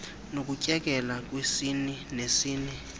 nokutyekela kwesini nesini